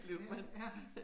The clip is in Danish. Ja, ja